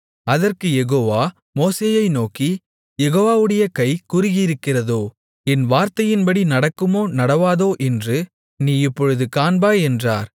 அதற்குக் யெகோவா மோசேயை நோக்கி யெகோவாவுடைய கை குறுகியிருக்கிறதோ என் வார்த்தையின்படி நடக்குமோ நடவாதோ என்று நீ இப்பொழுது காண்பாய் என்றார்